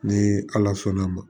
Ni ala sɔnn'a ma